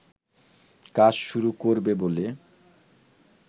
কাজ শুরু করবে বলে